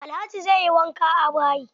Alhaji zai yi wanka a bayi.